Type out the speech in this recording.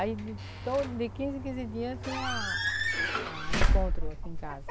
Aí de todo de quinze em quinze dia tem a a, encontro aqui em casa.